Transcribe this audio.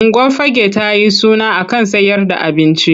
Unguwar Fagge ta yi suna a kan sayer da abinci.